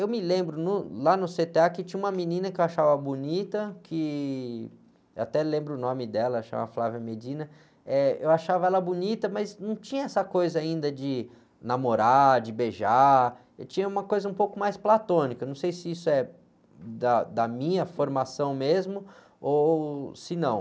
Eu me lembro, no, lá no cê-tê-á que tinha uma menina que eu achava bonita, que, eu até lembro o nome dela, chama, eu achava ela bonita, mas não tinha essa coisa ainda de namorar, de beijar, tinha uma coisa um pouco mais platônica, não sei se isso é da, da minha formação mesmo ou se não.